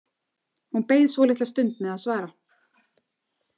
Hún beið svolitla stund með að svara.